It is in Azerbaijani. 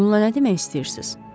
Bununla nə demək istəyirsiz?